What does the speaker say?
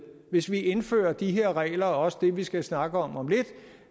hvis vi indfører de her regler og også det vi skal snakke om om lidt